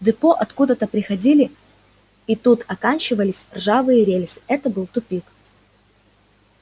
в депо откуда-то приходили и тут оканчивались ржавые рельсы это был тупик